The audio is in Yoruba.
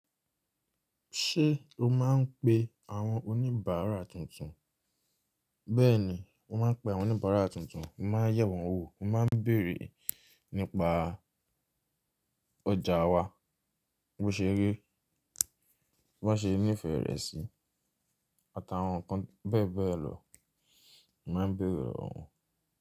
Ṣé o máa ń pe àwọn oníbàárà tuntun? Bẹ́ẹ̀ni, mo máa ń pe àwọn oníbàárà tuntun, mo máa ń yẹ̀ wọ́n wò, mo máa ń bèèrè nípa ọjà wa, bí ó ṣe rí, bí wọ́n ṣe ní ìfẹ́ rẹ̀ sí àt'àwọn nǹkan bẹ́ẹ̀ bẹ́ẹ̀ lọ, mo máa ń béèrè lọwọ wọn.